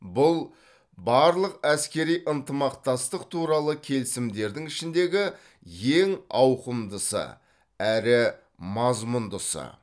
бұл барлық әскери ынтымақтастық туралы келісімдердің ішіндегі ең ауқымдысы әрі мазмұндысы